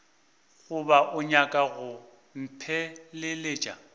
goba o nyaka go mpheleletša